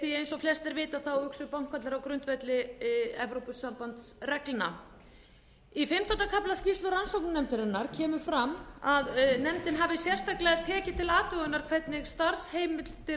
því eins og flestir vita hugsa bankarnir á grundvelli evrópusambandsreglna í fimmtánda kafla skýrslu rannsóknarnefndarinnar kemur fram að nefndin hafi sérstaklega tekið til athugunar hvernig starfsheimildir